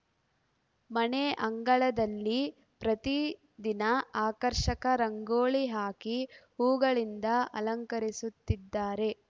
ಮನೆ ಅಂಗಳದಲ್ಲಿ ಪ್ರತೀ ದಿನ ಆಕರ್ಷಕ ರಂಗೊಲಿ ಹಾಕಿ ಹೂಗಳಿಂದ ಅಲಂಕರಿಸುತ್ತಿದ್ದಾರೆ